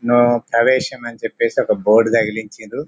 No ప్రవేశం అన్ని చేపి బోర్డు తగిలించిరూ.